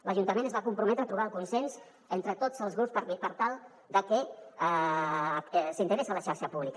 l’ajuntament es va comprometre a trobar el consens entre tots els grups per tal de que s’integrés a la xarxa pública